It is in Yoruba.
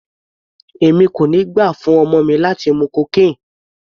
Èmi kò ní gbà fún ọmọ mi láti mú cocaine.